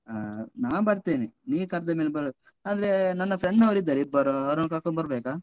ಆ ನಾ ಬರ್ತೇನೆ. ನೀ ಕರ್ದ ಮೇಲೆ ಬರುದೇ. ಅಂದ್ರೆ ನನ್ನ friends ನವರು ಇದ್ದಾರೆ ಇಬ್ಬರು ಅವರನ್ನು ಕರ್ಕೊಂಡು ಬರ್ಬೇಕಾ?